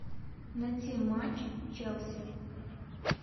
найти матч челси